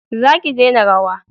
za ki dena rawa!